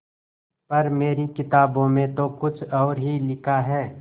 पर मेरी किताबों में तो कुछ और ही लिखा है